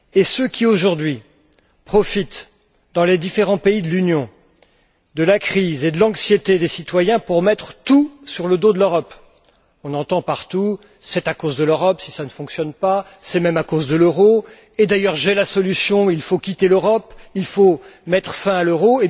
Ceux qui, aujourd'hui, profitent dans les différents pays de l'Union, de la crise et de l'anxiété des citoyens pour tout mettre sur le dos de l'Europe, on entend partout c'est à cause de l'Europe si ça ne fonctionne pas, c'est même à cause de l'euro, et d'ailleurs j'ai la solution, il faut quitter l'Europe, il faut mettre fin à l'euro....